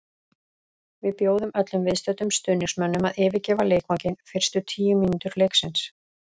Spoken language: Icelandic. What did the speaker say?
Við bjóðum öllum viðstöddum stuðningsmönnum að yfirgefa leikvanginn fyrstu tíu mínútur leiksins.